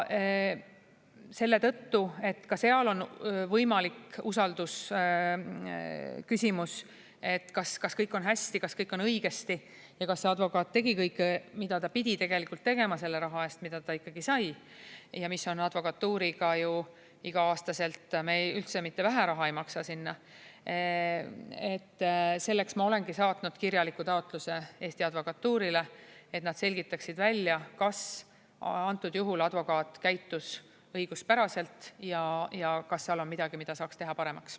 Selle tõttu, et ka seal on võimalik usaldusküsimus, et kas kõik on hästi, kas kõik on õigesti ja kas advokaat tegi kõike, mida ta pidi tegema selle raha eest, mida ta sai – me ei maksa üldse mitte vähe advokatuurile iga-aastaselt –, ma olengi saatnud kirjaliku taotluse Eesti Advokatuurile, et nad selgitaksid välja, kas antud juhul advokaat käitus õiguspäraselt ja kas seal on midagi, mida saaks teha paremaks.